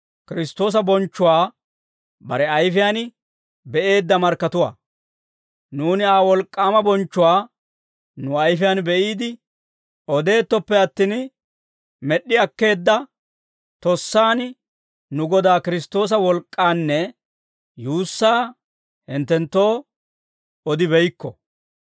Nuuni Aa wolk'k'aama bonchchuwaa nu ayfiyaan be'iide odettooppe attin, med'd'i akkeedda tossaan nu Godaa Kiristtoosa wolk'k'aanne yuussaa hinttenttoo odibeykko.